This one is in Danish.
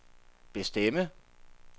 bestemme